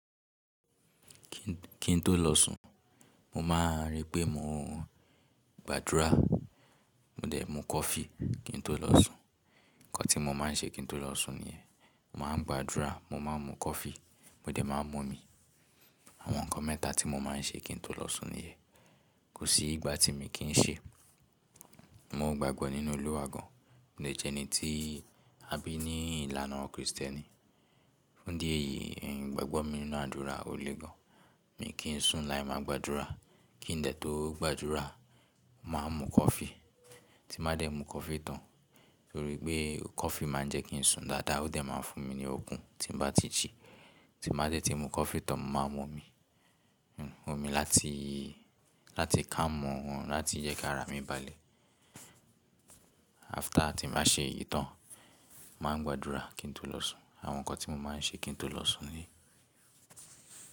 Kín tó lọ̀sún, mo máa ń rí pé mo gbàdúrà, mo dẹ̀ mú coffee kín tó lọ̀sún. Ǹkan tí mo máa ń ṣe kín tó lọ̀sún ni ẹ́. Máa gbàdúrà, mo máa ń mú coffee, mo dẹ̀ máa ń mú omi. Àwọn ǹkan mẹ́ta tí mo máa ń ṣe kín tó lọ̀sún ni ẹ́. Kò sí ìgbà tí mi kì n ṣe. Mo gbagbọ nínú Olúwa gan, mo dẹ̀ jẹ́ ẹni tí a bí ní ìlànà Kristẹni. Fún dí eyìí, ìgbàgbọ́ mi nínú àdúrà ò le gan. Mi kì n sùn láì máa gbàdúrà. Kí n dẹ̀ tó gbàdúrà, màá mú coffee. Tí màá dẹ̀ mú coffee tán, torí pé coffee máa ń jẹ́ kí n sùn dáadáa, ó dẹ̀ máa ń fún mi ní okún tí n bá ti jí. Tí màá dẹ̀ ti mú coffee tán, mo máa mú omi. Omi láti, láti calm o, láti jẹ́ kí ara mi balẹ̀. After tí màá ṣe èyí tán, màá ń gbàdúrà kín tó lọ̀sún. Àwọn ǹkan tí mo máa ń ṣe kín tó lọ̀sún ni.